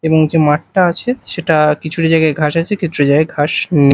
এবং যে মাঠটা আছে সেটা কিছুটা জায়গায় ঘাস আছে কিছুটা জায়গায় ঘাস নে --